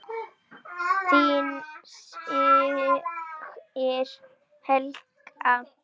Þín systir Helga.